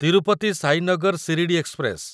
Tirupati Sainagar Shirdi express